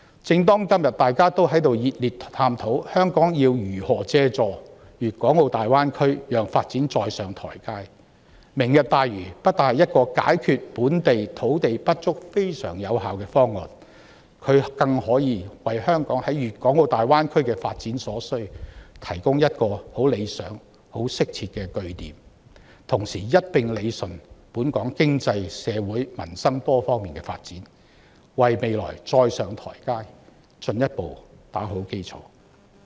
正當今天大家都在熱烈探討香港要如何借助粵港澳大灣區讓發展再上台階，"明日大嶼願景"不單能有效解決本地土地不足的問題，更可以為香港在粵港澳大灣區的發展提供很理想和適切的據點，同時一併理順本港經濟、社會、民生等多方面的發展，為香港再上台階進一步打好基礎。